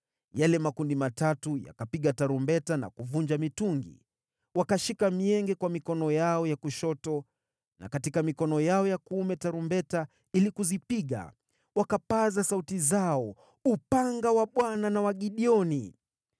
Yale makundi matatu yakapiga tarumbeta na kuvunja mitungi. Wakashika mienge kwa mikono yao ya kushoto na katika mikono yao ya kuume tarumbeta ili kuzipiga, wakapaza sauti zao, “Upanga wa Bwana na wa Gideoni!”